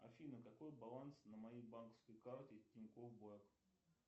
афина какой баланс на моей банковской карте тинькофф блэк